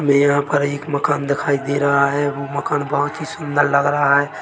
यहाँ पर एक मकान दिखाई दे रहा हैं और वो मकान बोहत ही सुन्दर लग रहा है।